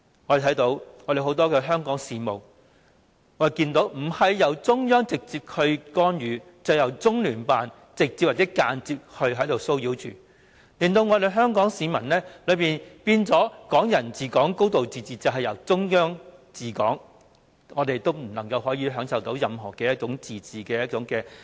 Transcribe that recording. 我們看見很多香港事務不是由中央政府直接干預，便是由中聯辦直接或間接插手，令香港市民感到"港人治港"、"高度自治"已變成"中央治港"，我們根本無法享受任何自治。